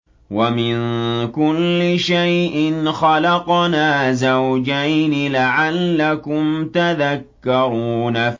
وَمِن كُلِّ شَيْءٍ خَلَقْنَا زَوْجَيْنِ لَعَلَّكُمْ تَذَكَّرُونَ